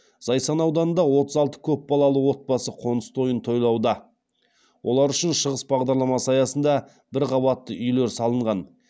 зайсан ауданында отыз алты көпбалалы отбасы қоныс тойын тойлауда олар үшін шығыс бағдарламасы аясында бір қабатты үйлер салынған